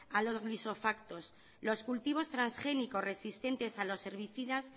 a los glifosatos los cultivos transgénicos resistente a los herbicidas